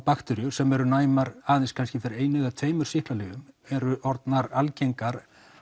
bakteríur sem eru næmar aðeins kannski fyrir einu eða tveimur sýklalyfjum eru orðnar algengar